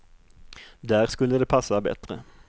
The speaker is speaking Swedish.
Där skulle det passa bättre.